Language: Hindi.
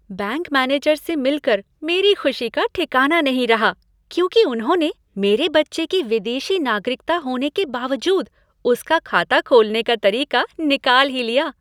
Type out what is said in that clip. बैंक मैनेजर से मिल कर मेरी खुशी का ठिकाना नहीं रहा क्योंकि उन्होंने मेरे बच्चे की विदेशी नागरिकता होने के बावजूद उसका खाता खोलने का तरीका निकाल ही लिया।